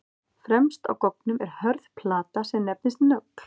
Fremst á goggnum er hörð plata sem nefnist nögl.